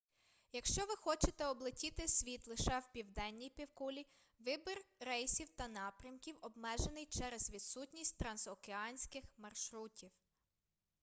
якщо ви хочете облетіти світ лише в південній півкулі вибір рейсів та напрямків обмежений через відсутність трансокеанських маршрутів